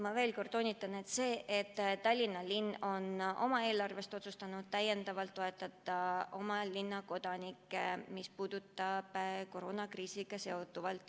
Ma veel kord toonitan: jah, Tallinna linn on oma eelarvest otsustanud täiendavalt toetada oma linna kodanikke koroonakriisiga seonduvalt.